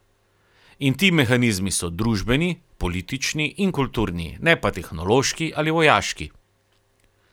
In ti mehanizmi so družbeni, politični in kulturni, ne pa tehnološki ali vojaški.